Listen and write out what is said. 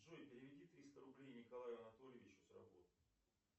джой переведи триста рублей николаю анатольевичу с работы